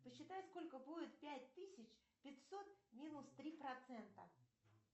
посчитай сколько будет пять тысяч пятьсот минус три процента